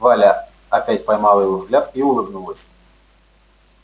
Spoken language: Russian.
валя опять поймала его взгляд и улыбнулась